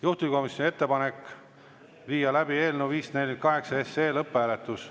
Juhtivkomisjoni ettepanek on viia läbi eelnõu 548 lõpphääletus.